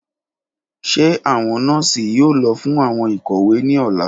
Ṣe awọn nọọsi yoo lọ fun awọn ikowe ni ọla?